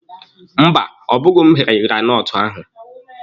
Mba, ọ bụghị m ghere granọtụ ahụ.